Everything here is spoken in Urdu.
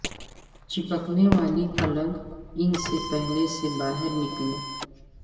چپکنے والی پلگ ان سے پہلے سے باہر نکلیں